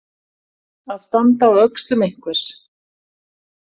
Að standa á öxlum einhvers